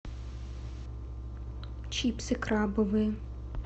чипсы крабовые